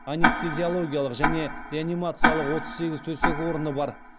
анестезиологиялық және реанимациялық отыз сегіз төсек орны бар